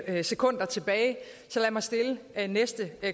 er sekunder tilbage så lad mig stille det næste